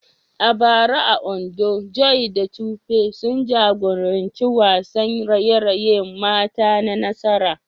A bara a Ondo, Joy da Tope sun jagoranci wasan raye-rayen mata na nasara.